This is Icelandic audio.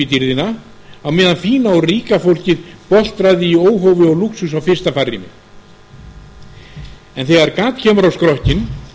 dýrðina á meðan fína og ríka fólkið boltraði í óhófi og lúxus á fyrsta farrými en þegar gat kemur á skrokkinn